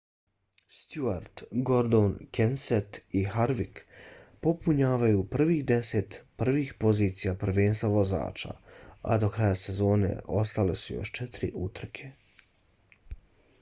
stewart gordon kenseth i harvick popunjavaju prvih deset prvih pozicija prvenstva vozača a do kraja sezone ostale su još četiri utrke